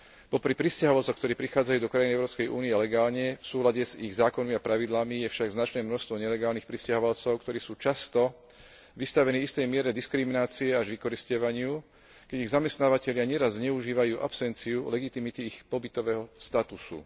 Popri prisťahovalcoch, ktorí prichádzajú do krajín Európskej únie legálne, v súlade s ich zákonmi a pravidlami, je však značné množstvo nelegálnych prisťahovalcov, ktorí sú často vystavení istej miere diskriminácie až vykorisťovaniu, keď ich zamestnávatelia neraz zneužívajú absenciu legitimity ich pobytového statusu.